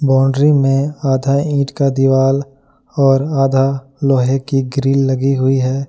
Boundary में आधा ईंट का दिवाला और आधा लोहे की ग्रिल लगी हुई है।